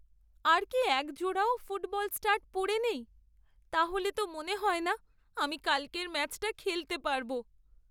আর কি একজোড়াও football stud পড়ে নেই? তাহলে তো মনে হয় না আমি কালকের ম্যাচটা খেলতে পারব।